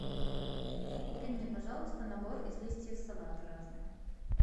купи мне пожалуйста набор из листьев салата разных